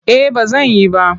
Eh ba zan yi ba.